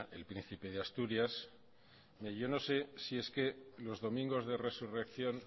el príncipe de asturias yo no sé si es que los domingos de resurrección